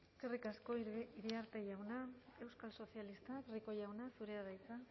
eskerrik asko iriarte jauna euskal sozialistak rico jauna zurea da hitza